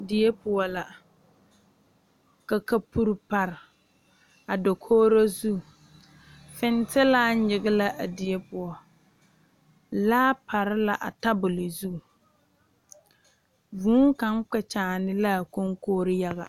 Die poɔ la ka kapuri dɔgele a dakooro zu fentelaa nyige la a die poɔ laa pare la a tabol zu vuu kaŋ kpɛ kyaane la a kɔŋkori yaga